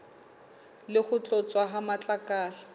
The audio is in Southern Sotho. le ho tloswa ha matlakala